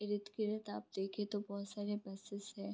आप देखे तो बोहोत सारे बसेस है।